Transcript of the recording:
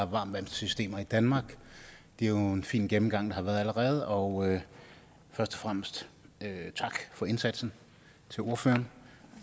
varmtvandssystemer i danmark det er jo en fin gennemgang der har været allerede og først og fremmest tak for indsatsen til ordførerne